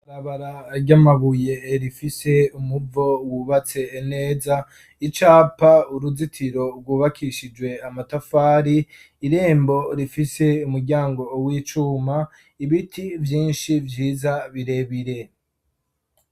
Ibarabara ry'amabuye rifise umuvo wubatse neza, icapa, uruzitiro rwubakishijwe amatafari irembo rifise umuryango w'icuma ibiti vyinshi vyiza birebire.